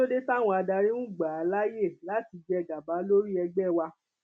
kí ló dé táwọn adarí ń gbà á láàyè láti jẹ gàba lórí ẹgbẹ wa